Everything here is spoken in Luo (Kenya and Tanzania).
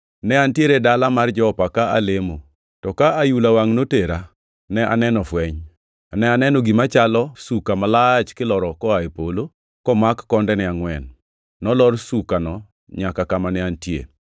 “Ne antiere e dala mar Jopa ka alemo, to ka ayula wangʼ notera, ne aneno fweny. Ne aneno gima chalo suka malach kiloro piny koa e polo, komak kondene angʼwen. Nolor sukano nyaka kama ne antie.